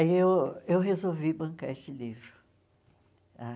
Aí eu eu resolvi bancar esse livro ah.